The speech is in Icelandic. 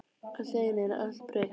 Allt í einu er allt breytt.